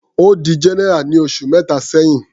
Ó di general ní oṣù mẹta sẹ́hìn.